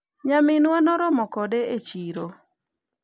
nyaminwa noromo kode e chiro